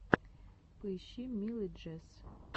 поищи милый джесс